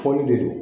Foli de don